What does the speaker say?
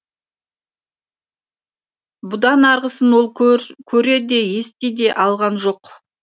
бұдан арғысын ол көре де ести де алған жоқ